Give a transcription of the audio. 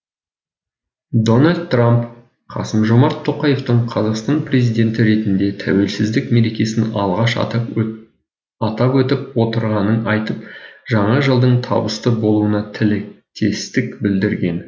дональд трамп қасым жомарт тоқаевтың қазақстан президенті ретінде тәуелсіздік мерекесін алғаш атап өтіп отырғанын айтып жаңа жылдың табысты болуына тілектестік білдірген